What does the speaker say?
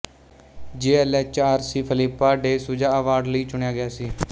ਜੀ L H R C Philippa De Souza award ਲਈ ਚੁਣਿਆ ਗਿਆ ਸੀ